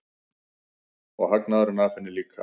Og hagnaðurinn af henni líka.